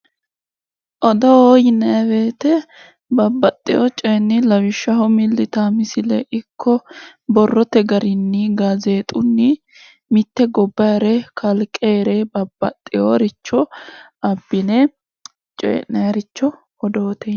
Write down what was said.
Odoo yinanni woyite babbaxxeyo coyinni lawishshaho milli yitaa misillenni ikko borrote garinni gaazeexunni mitte gobbayire kalqeere babbaxxeyoricho abbine coyi'nayiricho odoote yinanni.